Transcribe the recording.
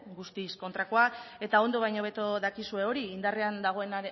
guztiz kontrakoa eta ondo baino hobeto dakizue hori indarrean dagoen